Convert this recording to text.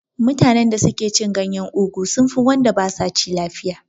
Mutanen da suke cin ganyen ugu sun fi wanda basa ci lafiya